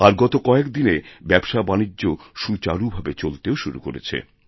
আর গত কয়েক দিনে ব্যবসাবাণিজ্যসুচারুভাবে চলতেও শুরু করেছে